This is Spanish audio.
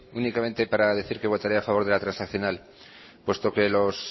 únicamente para decir que votaré a favor de la transaccional puesto que los